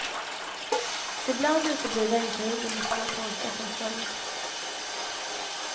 Ibland uteblir regnperioden med svår torka som följd.